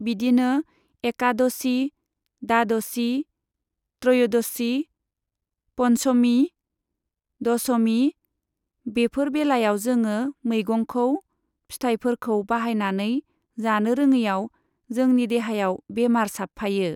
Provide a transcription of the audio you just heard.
बिदिनो एकादशि, दादशि, त्रय'दशि, पन्छमि, दशमि बेफोर बेलायाव जोङो मैगंखौ, फिथाइफोरखौ बाहायनानै जानो रोङैआव जोंनि देहायाव बेमार साबफायो।